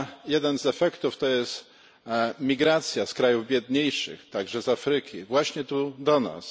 Jeden z efektów to jest migracja z krajów biedniejszych, także z Afryki, właśnie tu do nas.